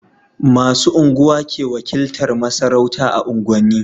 Masu unguwa ke wakiltar masarauta a unguwan ni